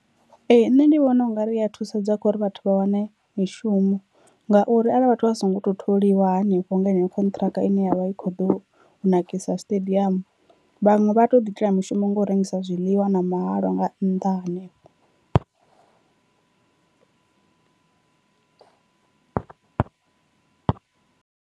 Ee nṋe ndi vhona ungari ya thusedza kho ri vhathu vha wane mishumo ngauri arali vhathu vha so ngo to tholiwa hanefho nga heneyo khonṱhiraka ine yavha i kho ḓo nakisa stadium, vhaṅwe vha to ḓi itela mishumo nga u rengisa zwiḽiwa na mahalwa nga nnḓa hanefho.